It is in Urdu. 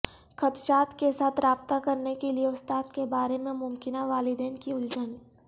خدشات کے ساتھ رابطہ کرنے کے لئے استاد کے بارے میں ممکنہ والدین کی الجھن